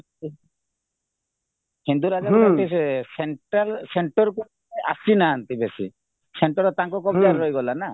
ହିନ୍ଦୁ ରାଜାଙ୍କ ପ୍ରତି ସେ central centerକୁ ଆସିନାହାନ୍ତି ବେଶୀ center ତାଙ୍କ କବଜାରେ ରହିଗଲାନା